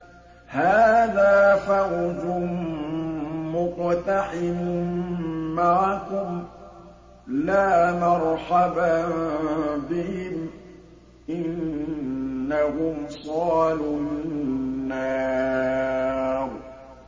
هَٰذَا فَوْجٌ مُّقْتَحِمٌ مَّعَكُمْ ۖ لَا مَرْحَبًا بِهِمْ ۚ إِنَّهُمْ صَالُو النَّارِ